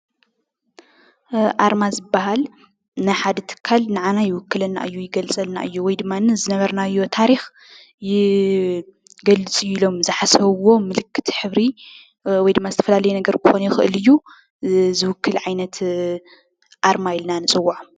ኣርማ ዝበሃል ናይ ሓደ ትካል ንዓና ይውክለና እዩ፣ ይገልፀልና እዩ፣ ንዝነባርናዮ ታሪኽ ይገልፅ እዩ ኢሎም ዝሓሰብዎ ብሕብሪ ወይ ድማ ዝተፈላለየ ነገር ክኾን ይክእል እዩ። ዝውክል ዓይነት ኣርማ ኢልና ንፅዎዖ።